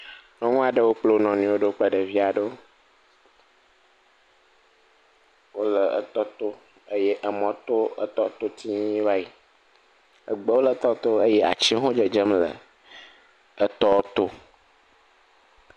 Nyɔnu aɖewo kplɔ wo nɔ nɔewo ɖo kple ɖevi aɖewo. Wole etɔ to, eye emɔ to etɔ to va yi, egbewo le tɔ to eye atiwo hã dzedzem le etɔ to.